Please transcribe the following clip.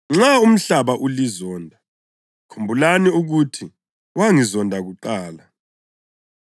“Nxa umhlaba ulizonda, khumbulani ukuthi wangizonda kuqala.